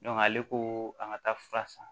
ale ko an ka taa fura san